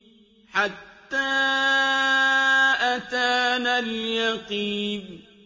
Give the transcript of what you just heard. حَتَّىٰ أَتَانَا الْيَقِينُ